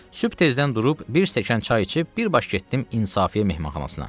Sübh tezdən durub bir stəkan çay içib bir baş getdim İnsafiyə mehmanxanasına.